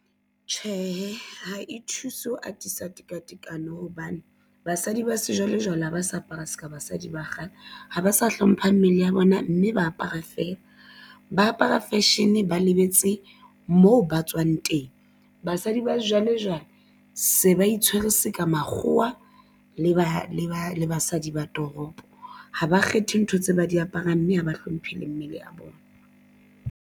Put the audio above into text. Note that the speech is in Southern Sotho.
Tjhehe, ha e thuse ho atisa tekatekano hobane basadi ba sejwalejwale ha ba sa apara se ka basadi ba kgale ha ba sa hlompha mmele ya bona mme ba apara feela ba apara fashion ba lebetse moo ba tswang teng. Basadi ba sejwalejwale se ba itshwere se ka makgowa le ba le ba le basadi ba toropo ha ba kgethe ntho tse ba di aparang mme ha ba hlomphile mmele a bona.